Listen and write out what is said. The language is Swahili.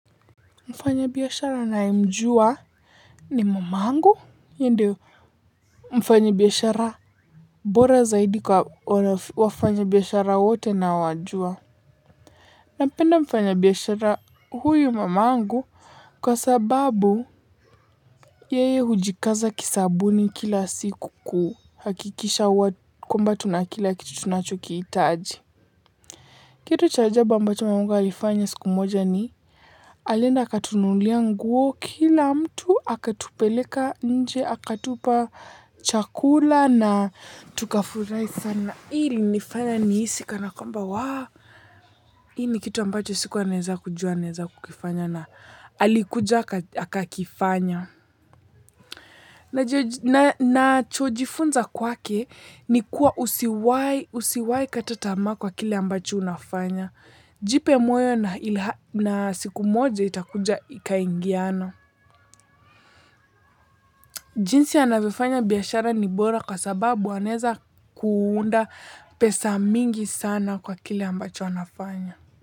Mfanyabiashara nayemjua ni mama yangu na ndio mfanyabiashara bora zaidi kwa wafanyabiashara wote naowajua. Napenda mfanyabiashara huyu mama angu. Kwa sababu yeye hujikaza kisabuni kila siku kuhakikisha kwamba tunakila kitu tunachokihitaji. Kitu cha ajabu ambacho mama angu alifanya siku moja ni alienda kutununulia nguo, kila mtu akatupeleka nje, akatupa chakula na tukafurahi sana. Hii imenifanya nihisi kana kwamba wa, hii ni kitu ambacho siku naweza kujua naweza kukifanya na alikuja akakifanya. Nachojifunza kwake ni kuwa usiwahi kata tamaa kwa kile ambacho unafanya. Jipe moyo na siku moja itakuja ikaingia. Jinsi anavyofanya biashara ni bora sababu anaweza kuunda pesa mingi sana kwa kitu anachofanya.